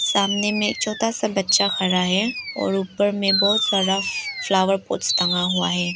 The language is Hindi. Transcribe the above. सामने में एक छोटा सा बच्चा खड़ा है और ऊपर में बहुत सारा फ्लावर पॉट्स टंगा हुआ है।